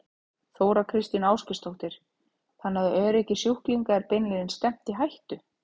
Þóra Kristín Ásgeirsdóttir: Þannig að öryggi sjúklinga er beinlínis stefnt í hættu?